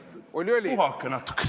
Puhake natukene!